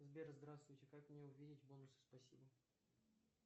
сбер здравствуйте как мне увидеть бонусы спасибо